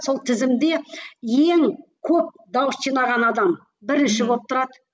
сол тізімде ең көп дауыс жинаған адам бірінші болып тұрады